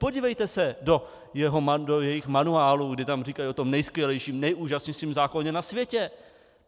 Podívejte se do jejich manuálu, kdy tam říkají o tom nejskvělejším, nejúžasnějším zákoně na světě.